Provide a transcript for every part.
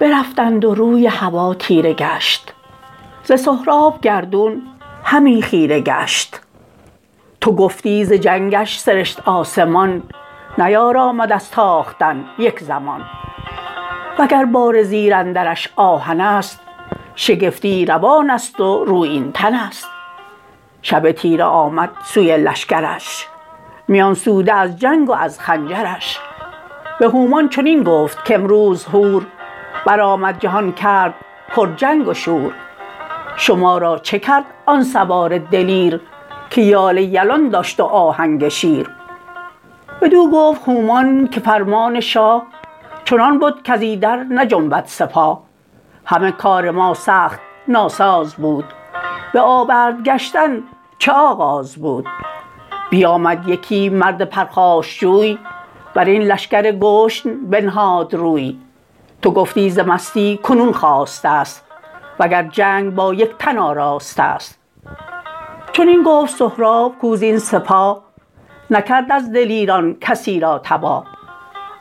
برفتند و روی هوا تیره گشت ز سهراب گردون همی خیره گشت تو گفتی ز جنگش سرشت آسمان نیارامد از تاختن یک زمان وگر باره زیر اندرش آهنست شگفتی روانست و رویین تنست شب تیره آمد سوی لشکرش میان سوده از جنگ و از خنجرش به هومان چنین گفت کامروز هور برآمد جهان کرد پر چنگ و شور شما را چه کرد آن سوار دلیر که یال یلان داشت و آهنگ شیر بدو گفت هومان که فرمان شاه چنان بد کز ایدر نجنبد سپاه همه کار ماسخت ناساز بود به آورد گشتن چه آغاز بود بیامی یکی مرد پرخاشجوی برین لشکر گشن بنهاد روی تو گفتی ز مستی کنون خاستست وگر جنگ بایک تن آراستست چنین گفت سهراب کاو زین سپاه نکرد از دلیران کسی را تباه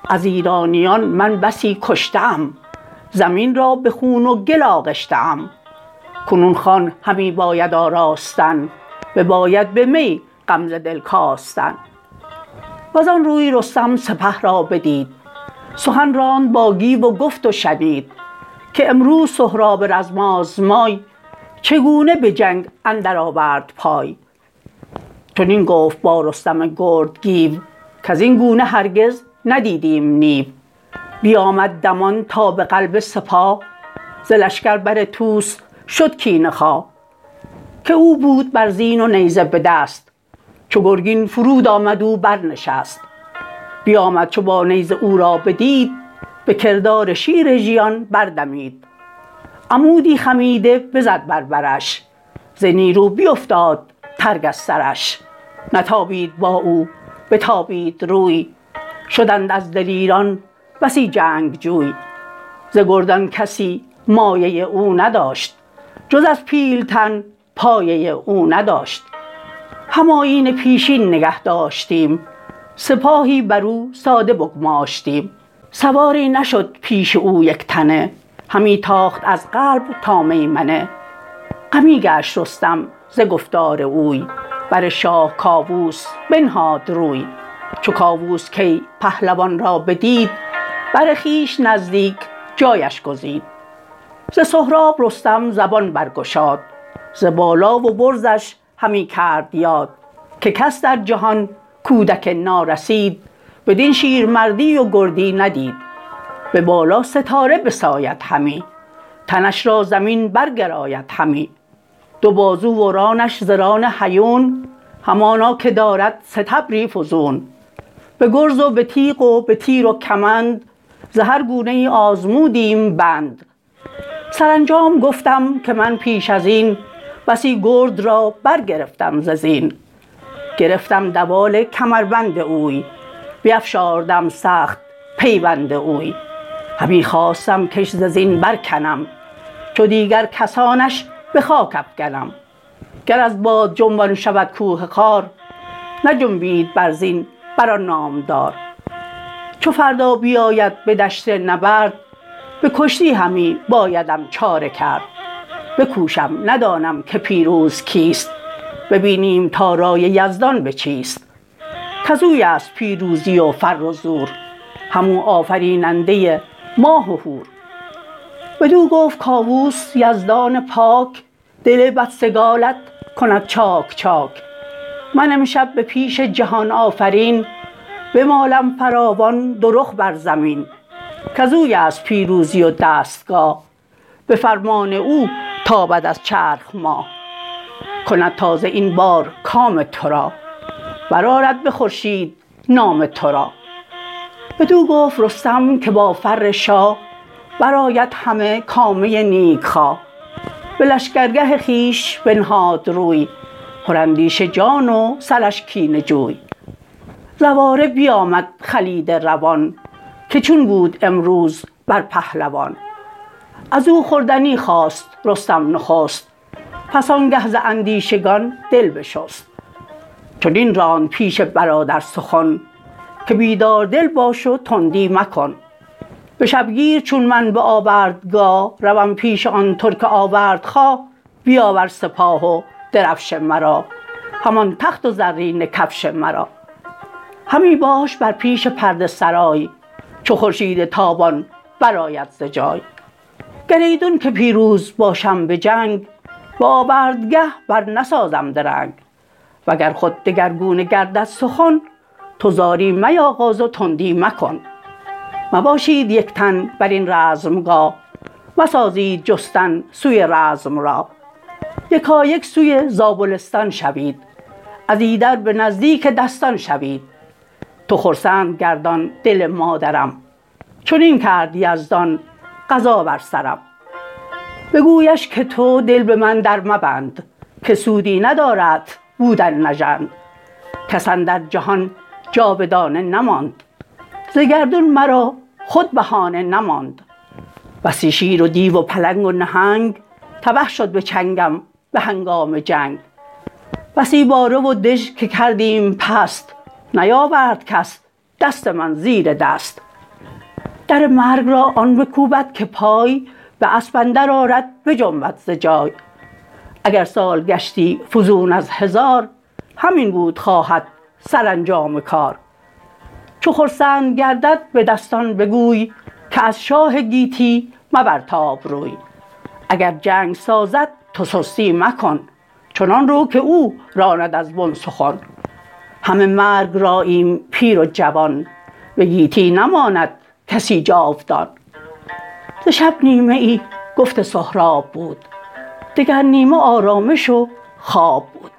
از ایرانیان من بسی کشته ام زمین را به خون و گل آغشته ام کنون خوان همی باید آراستن بباید به می غم ز دل کاستن وزان روی رستم سپه را بدید سخن راند با گیو و گفت و شنید که امروز سهراب رزم آزمای چگونه به جنگ اندر آورد پای چنین گفت با رستم گرد گیو کزین گونه هرگز ندیدیم نیو بیامد دمان تا به قلب سپاه ز لشکر بر طوس شد کینه خواه که او بود بر زین و نیزه بدست چو گرگین فرود آمد او برنشست بیامد چو با نیزه او را بدید به کردار شیر ژیان بردمید عمودی خمیده بزد بر برش ز نیرو بیفتاد ترگ از سرش نتابید با او بتابید روی شدند از دلیران بسی جنگ جوی ز گردان کسی مایه او نداشت جز از پیلتن پایه او نداشت هم آیین پیشین نگه داشتیم سپاهی برو ساده بگماشتیم سواری نشد پیش او یکتنه همی تاخت از قلب تا میمنه غمی گشت رستم ز گفتار اوی بر شاه کاووس بنهاد روی چو کاووس کی پهلوان را بدید بر خویش نزدیک جایش گزید ز سهراب رستم زبان برگشاد ز بالا و برزش همی کرد یاد که کس در جهان کودک نارسید بدین شیرمردی و گردی ندید به بالا ستاره بساید همی تنش را زمین برگراید همی دو بازو و رانش ز ران هیون همانا که دارد ستبری فزون به گرز و به تیغ و به تیر و کمند ز هرگونه ای آزمودیم بند سرانجام گفتم که من پیش ازین بسی گرد را برگرفتم ز زین گرفتم دوال کمربند اوی بیفشاردم سخت پیوند اوی همی خواستم کش ز زین برکنم چو دیگر کسانش به خاک افگنم گر از باد جنبان شود کوه خار نجنبید بر زین بر آن نامدار چو فردا بیاید به دشت نبرد به کشتی همی بایدم چاره کرد بکوشم ندانم که پیروز کیست ببینیم تا رای یزدان به چیست کزویست پیروزی و فر و زور هم او آفریننده ماه و هور بدو گفت کاووس یزدان پاک دل بدسگالت کند چاک چاک من امشب به پیش جهان آفرین بمالم فراوان دو رخ بر زمین کزویست پیروزی و دستگاه به فرمان او تابد از چرخ ماه کند تازه این بار کام ترا برآرد به خورشید نام ترا بدو گفت رستم که با فر شاه برآید همه کامه نیک خواه به لشکر گه خویش بنهاد روی پراندیشه جان و سرش کینه جوی زواره بیامد خلیده روان که چون بود امروز بر پهلوان ازو خوردنی خواست رستم نخست پس آنگه ز اندیشگان دل بشست چنین راند پیش برادر سخن که بیدار دل باش و تندی مکن به شبگیر چون من به آوردگاه روم پیش آن ترک آوردخواه بیاور سپاه و درفش مرا همان تخت و زرینه کفش مرا همی باش بر پیش پرده سرای چو خورشید تابان برآید ز جای گر ایدون که پیروز باشم به جنگ به آوردگه بر نسازم درنگ و گر خود دگرگونه گردد سخن تو زاری میاغاز و تندی مکن مباشید یک تن برین رزمگاه مسازید جستن سوی رزم راه یکایک سوی زابلستان شوید از ایدر به نزدیک دستان شوید تو خرسند گردان دل مادرم چنین کرد یزدان قضا بر سرم بگویش که تو دل به من در مبند که سودی ندارت بودن نژند کس اندر جهان جاودانه نماند ز گردون مرا خود بهانه نماند بسی شیر و دیو و پلنگ و نهنگ تبه شد به چنگم به هنگام جنگ بسی باره و دژ که کردیم پست نیاورد کس دست من زیر دست در مرگ را آن بکوبد که پای باسپ اندر آرد بجنبد ز جای اگر سال گشتی فزون ازهزار همین بود خواهد سرانجام کار چو خرسند گردد به دستان بگوی که از شاه گیتی مبرتاب روی اگر جنگ سازد تو سستی مکن چنان رو که او راند از بن سخن همه مرگ راییم پیر و جوان به گیتی نماند کسی جاودان ز شب نیمه ای گفت سهراب بود دگر نیمه آرامش و خواب بود